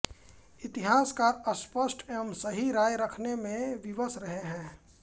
इतिहासकार स्पष्ट एवं सही राय रखने में विवश रहे हैं